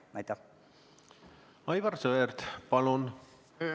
Aivar Sõerd, palun!